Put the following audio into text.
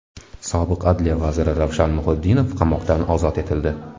Sobiq adliya vaziri Ravshan Muhiddinov qamoqdan ozod etildi.